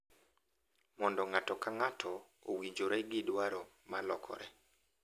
Mondo ng’ato ka ng’ato owinjore gi dwaro ma lokore